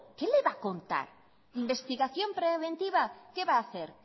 qué le va a contar investigación preventiva qué va a hacer